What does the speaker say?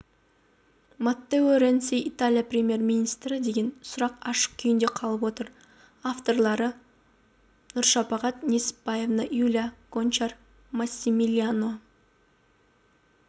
маттео ренци италия премьер-министрі деген сұрақ ашық күйінде қалып отыр авторлары нұршапағат несіпбаевна юлия гончар массимилиано